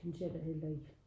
Synes jeg da heller ikke